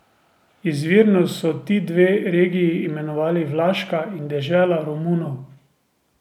Izvirno so ti dve regiji imenovali Vlaška in dežela Romunov.